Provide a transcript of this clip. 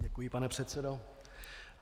Děkuji, pane předsedo.